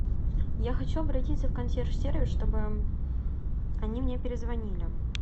я хочу обратиться в консьерж сервис чтобы они мне перезвонили